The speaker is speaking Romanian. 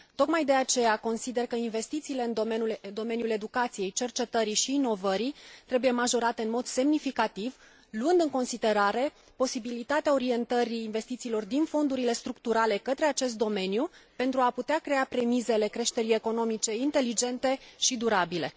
Tocmai de aceea, consider că investițiile în domeniul educației, cercetării și inovării trebuie majorate în mod semnificativ, luând în considerare posibilitatea orientării investițiilor din fondurile structurale către acest domeniu, pentru a putea crea premisele creșterii economice inteligente și durabile.